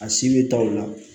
A si bɛ taa o la